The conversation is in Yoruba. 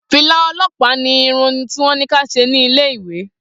Fìlà o̩ló̩pàá ni irun tí wó̩n ní kí a s̩e ní ilé ìwé